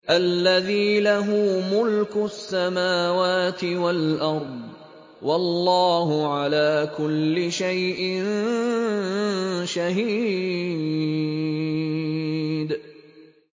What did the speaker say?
الَّذِي لَهُ مُلْكُ السَّمَاوَاتِ وَالْأَرْضِ ۚ وَاللَّهُ عَلَىٰ كُلِّ شَيْءٍ شَهِيدٌ